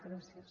gràcies